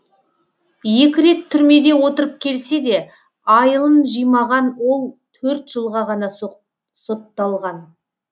екі рет түрмеде отырып келсе де айылын жимаған ол төрт жылға ғана сотталған